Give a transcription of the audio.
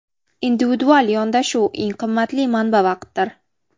Individual yondashuv Eng qimmatli manba vaqtdir.